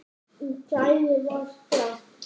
Í geði var gramt.